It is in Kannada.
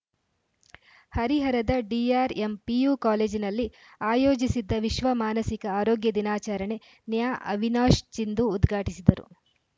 ಹರಿಹರದ ಡಿಆರ್‌ಎಂ ಪಿಯು ಕಾಲೇಜಿನಲ್ಲಿ ಆಯೋಜಿಸಿದ್ದ ವಿಶ್ವ ಮಾನಸಿಕ ಆರೋಗ್ಯ ದಿನಾಚರಣೆ ನ್ಯಾ ಅವಿನಾಶ್‌ ಚಿಂದು ಉದ್ಘಾಟಿಸಿದರು